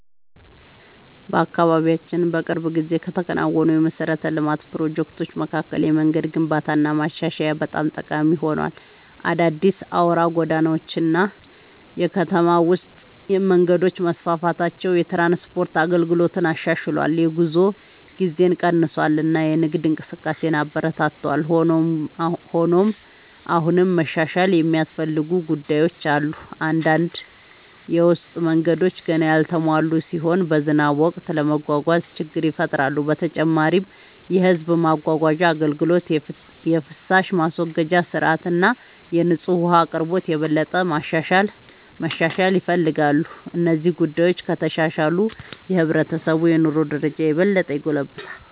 በአካባቢያችን በቅርብ ጊዜ ከተከናወኑ የመሠረተ ልማት ፕሮጀክቶች መካከል የመንገድ ግንባታና ማሻሻያ በጣም ጠቃሚ ሆኗል። አዳዲስ አውራ ጎዳናዎች እና የከተማ ውስጥ መንገዶች መስፋፋታቸው የትራንስፖርት አገልግሎትን አሻሽሏል፣ የጉዞ ጊዜን ቀንሷል እና የንግድ እንቅስቃሴን አበረታቷል። ሆኖም አሁንም መሻሻል የሚያስፈልጉ ጉዳዮች አሉ። አንዳንድ የውስጥ መንገዶች ገና ያልተሟሉ ሲሆኑ በዝናብ ወቅት ለመጓጓዝ ችግር ይፈጥራሉ። በተጨማሪም የሕዝብ ማጓጓዣ አገልግሎት፣ የፍሳሽ ማስወገጃ ሥርዓት እና የንጹህ ውኃ አቅርቦት የበለጠ መሻሻል ይፈልጋሉ። እነዚህ ጉዳዮች ከተሻሻሉ የሕብረተሰቡ የኑሮ ደረጃ የበለጠ ይጎለብታል።